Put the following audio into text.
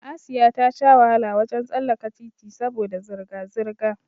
Asiya ta sha wahala wajen tsallaka titi saboda zirga zirga